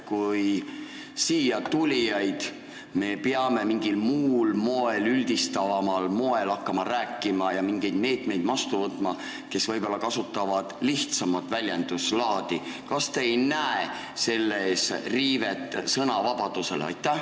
Kui me siia tulijatest peame mingil muul moel, üldistavamal moel rääkima hakkama ja mingeid meetmeid võtma nende jaoks, kes võib-olla kasutavad lihtsamat väljenduslaadi, siis kas te ei näe selles riivet sõnavabadusele?